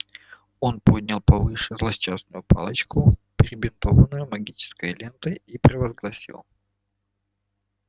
он поднял повыше злосчастную палочку перебинтованную магической лентой и провозгласил